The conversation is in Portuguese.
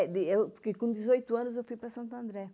É, de fiquei com dezoito anos eu fui para Santo André.